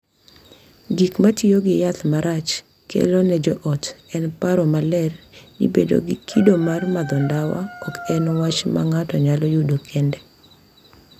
Gik ma tiyo gi yath marach kelo ne joot en paro maler ni bedo gi kido mar madho ndawa ok en wach ma ng’ato nyalo yudo kende,